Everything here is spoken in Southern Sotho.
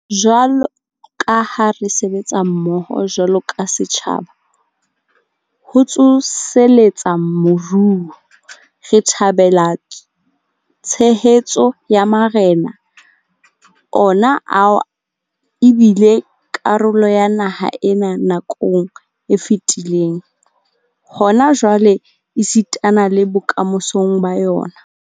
Jwalo ka ha re sebetsa mmoho jwalo ka setjhaba ho tsoseletsa moruo, re thabela tshehetso ya marena, ona ao e bileng karolo ya naha ena nakong e fetileng, hona jwale esitana le bokamosong ba yona.